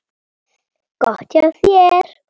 Gott hjá þér.